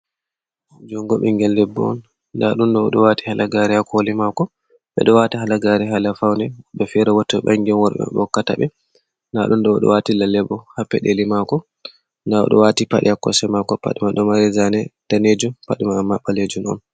Jungo ɓingel debbo on. Nda ɗum ɗo o ɗo waati halagare haa koli maako. Ɓe ɗo wata halagare haala faune. Woɓɓe fere bo to ɓangi on worɓe maɓɓe hokkataɓe, nda ɗum ɗo o ɗo waati lalle bo haa peɗeli maako. Nda o ɗo waati paɗe haa kosɗe maako. Paɗe man ɗo mari zane danejum. Pade man amma ɓalejum on.